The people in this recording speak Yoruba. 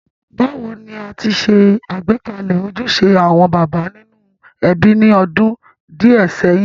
Bàwoni a ti se àgbékalẹ̀ ojúse àwon bàbá nínú ebí ni odún díẹ̀ séyìn.?